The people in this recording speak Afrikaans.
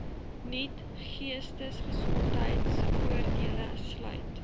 nuut geestesgesondheidvoordele sluit